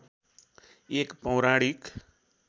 एक पौराणिक